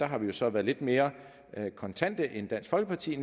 har vi så været lidt mere kontante end dansk folkeparti